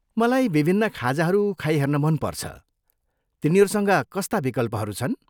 मलाई विभिन्न खाजाहरू खाइहेर्न मनपर्छ, तिनीहरूसँग कस्ता विकल्पहरू छन्?